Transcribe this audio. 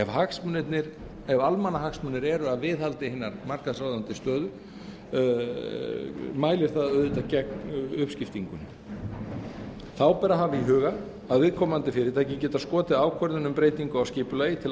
um ræðir ef almannahagsmunir eru að viðhaldi hinnar markaðsráðandi stöðu mælir það auðvitað gegn uppskiptingunni þá ber að hafa í huga að viðkomandi fyrirtæki geta skotið ákvörðun um breytingu á skipulagi til